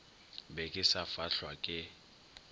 be ke sa fahlwa ke